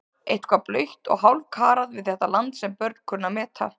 Eitthvað blautt og hálfkarað við þetta land sem börn kunnu að meta.